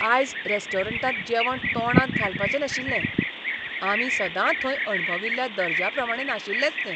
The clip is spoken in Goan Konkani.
आयज रेस्टॉरंटांत जेवण तोंडांत घालपाचें नाशिल्लें. आमी सदां थंय अणभविल्ल्या दर्ज्या प्रमाणें नाशिल्लेंच तें.